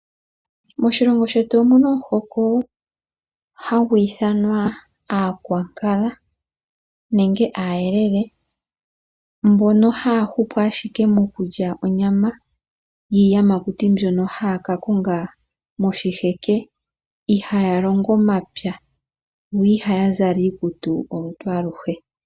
Moshilongo shetu omu na omuhoko hagu ithanwa Aankwankala nenge Aayelele mbono haya hupu ashike mokulya onyama yiiyamakuti mbyono haya ka konga moshiheke. Ihaya longo omapya yo ihaya zala iikutu olutu aluhe.